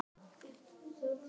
Alveg sama hvar það yrði.